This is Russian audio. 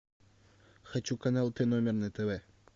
хочу канал т номер на тв